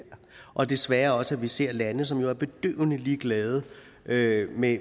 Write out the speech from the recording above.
og desværre også at vi ser lande som jo er bedøvende ligeglade med med